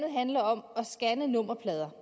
handler om at scanne nummerplader